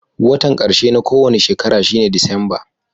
Wotan karshe na kowani shekara shine Disamba.